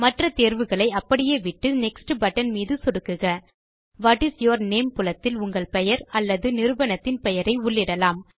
மற்ற தேர்வுகளை அப்படியே விட்டு நெக்ஸ்ட் பட்டன் மீது சொடுக்குக வாட் இஸ் யூர் நேம் புலத்தில் உங்கள் பெயர் அல்லது நிறுவனத்தின் பெயரை உள்ளிடலாம்